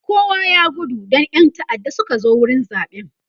kowa ya gudu Dan ƴan ta'adda Suka zo wurin zaɓen